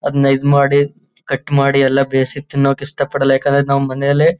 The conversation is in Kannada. ಅದನ್ನ ಇದ್ ಮಾಡಿ ಕಟ್ ಮಾಡಿ ಎಲ್ಲ ಬೇಯಿಸಿ ತಿನ್ನೋಕೆ ಇಷ್ಟ ಪಡಲ್ಲ ಯಾಕೆಂದ್ರೆ ನಾವು ಮನೆಯಲ್ಲೇ.